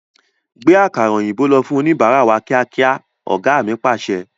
Gbe àkàrà òyìnbó lọ fún oníbárá wá kíákíá! Ọ̀gá mi Pàṣẹ.